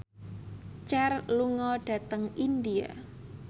Cher lunga dhateng India